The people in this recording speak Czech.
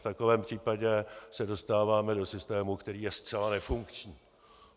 V takovém případě se dostáváme do systému, který je zcela nefunkční.